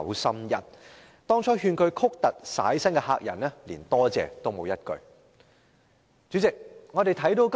對於當初勸他曲突徙薪的客人，他連一句感謝的話也沒有說。